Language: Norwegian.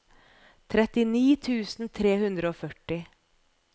trettini tusen tre hundre og førti